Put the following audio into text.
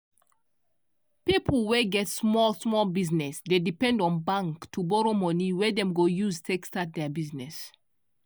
pipo wey get small small business dey depend on bank to borrow money wey dem go use take start their business.